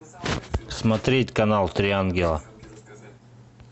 смотреть канал три ангела